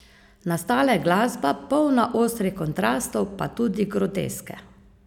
Nastala je glasba, polna ostrih kontrastov pa tudi groteske.